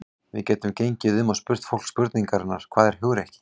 Við gætum gengið um og spurt fólk spurningarinnar: Hvað er hugrekki?